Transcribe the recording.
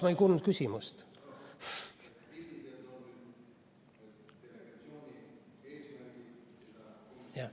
Ma ei kuulnud küsimust.